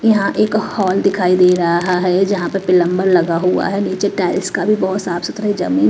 यहां एक हॉल दिखाई दे रहा है जहां पर पिलंबर लगा हुआ है नीचे टायर्स का भी बहुत साफ सुथरा .]